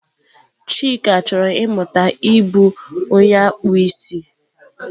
Chika chọrọ ịmụta ịbụ onye akpụ isi